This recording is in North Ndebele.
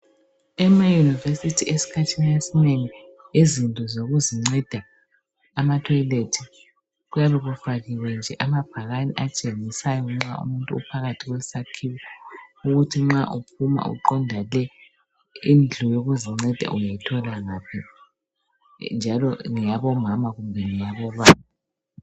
Emaunivesithi esikhathini esinengi izinto zokuzinceda amatoilet kuyabe kufakiwe nje amabhakana atshengisayo nxa umuntu uphakathi kwesakhiwo ukuthi nxa uphuma uqonda le indlu yokuzinceda uyayithola ngaphi njalo ngeyabo mama kumbe ngeyabobaba